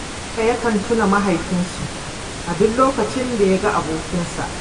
Garba yakan tuna mahaifinsu, a duk lokacin da ya ga abokansa